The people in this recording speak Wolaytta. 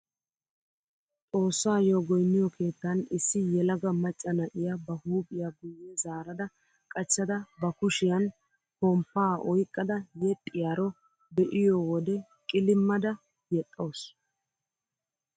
Xoossaayo goyniyoo keettan issi yelaga macca na'iyaa ba huuphphiya guye zaarada qachchada ba kushiyaan pomppaa oyqqada yexxiyaaro be'iyoo wode qilimmada yexxawus!